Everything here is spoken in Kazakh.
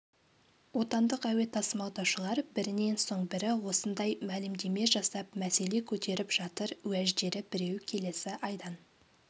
отандық әуе тасымалдаушылар бірінен соң бірі осындай мәлімдеме жасап мәселе көтеріп жатыр уәждері біреу келесі айдан